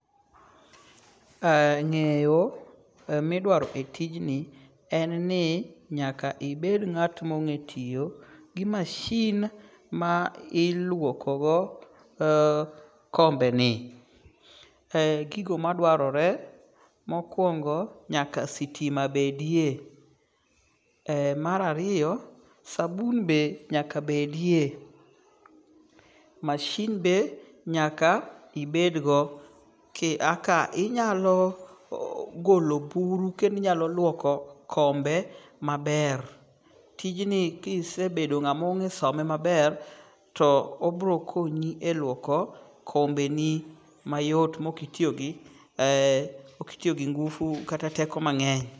Ng'eyo midwaro e tijni en ni nyaka ibed ng'at mong'e tiyo gi masin ma iluokogo kombe ni. Gigo madwarore mokwongo nyaka sitima bedie. Mar ariyo, sabun be nyakabedie. Masin be nyaka ibedgo. Eka inyalo golo buru kendo inyalo luoko kombe maber. Tijni kisebedo ng'ama ong\e some maber obiro konyi luoko kombeni mayot mok itiyo gi ngufu kata teko mang'eny.